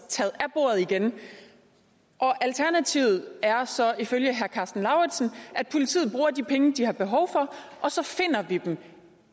taget af bordet igen alternativet er så ifølge herre karsten lauritzen at politiet bruger de penge de har behov for og så finder vi dem